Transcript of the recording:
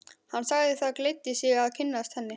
Hann sagði það gleddi sig að kynnast henni.